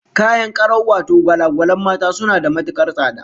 Kayan karau wato gwala-gwalan mata, suna da matukar tsada